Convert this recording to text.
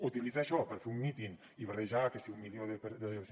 utilitzar això per fer un míting i barrejar que si mil cent